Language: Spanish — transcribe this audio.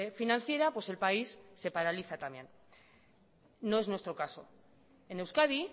financiera pues el país se paraliza también no es nuestro caso en euskadi